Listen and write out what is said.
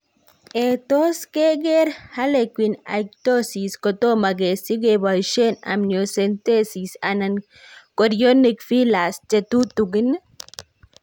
Ee, tos' keker harlequin ichthyosis kotomo kesich keboisie amniocentesis anan chorionic villus che tutugin.